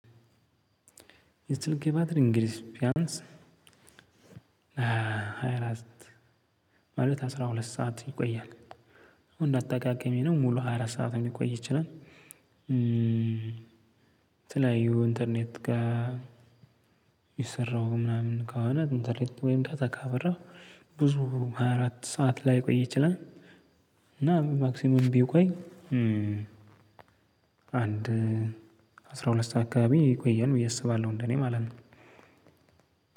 የስልኬ ባትሪ እንግዲህ ቢያንስ ሃያ አራት ማለት አስራ ሁለት ሰዓት ይቆያል። ያው እንደ አጠቃቀሜ ነው ሙሉ ሃያ አራት ሰዓት ሊቆይ ይችላል። የተለያዩ ኢንተርኔት ጋር እየሰራው ምናምን ከሆነ ኢንተርኔት ወይም ዳት ካበራሁ ብዙ ሃያ አራት ሰዓት ላይ ቆይ ይችላል። እና ማክሲመም ቢቆይ አንድ አስራ ሁለት ሰዓት አካባቢ ይቆያል ብዬ አስባለሁ እንደኔ ማለት ነው።